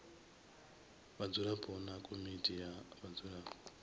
vhadzulapo na komiti ya vhadzulapo